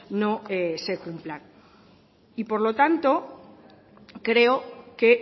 no se cumplan y por lo tanto creo que